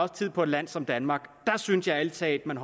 tid på et land som danmark der synes jeg ærlig talt man